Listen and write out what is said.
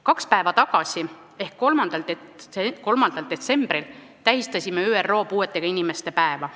Kaks päeva tagasi ehk 3. detsembril tähistasime ÜRO puuetega inimeste päeva.